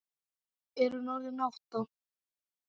Er hún orðin átta?